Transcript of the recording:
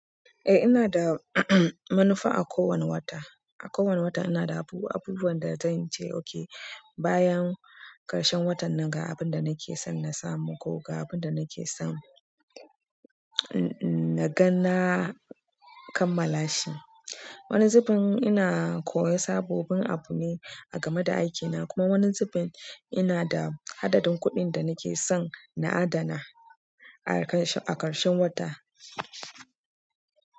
Ina da manufa ako wanne wata. A kowane wata ina da abubuwan da zan ce okay bayan ƙarshen watan nan ga abin da nake son na samu ko ga abin da nake son naga na kammala shi. Wani zubin ina koyan sababbin abu ne a game da aikina kuma wani zubin ina da adadin kuɗin da nake son na adana a ƙarshen wata.